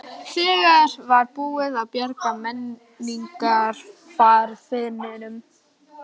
Þegar var búið að bjarga menningararfinum.